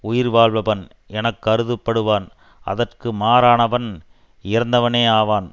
உயிர்வாழ்பவன் என கருதப்படுவான் அதற்கு மாறானவன் இறந்தவனே ஆவான்